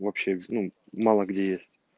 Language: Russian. вообще ну мало где есть